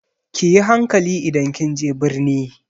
Ki yi hankali idan kin je birni!